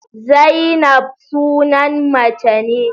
Zainab sunan mace ne.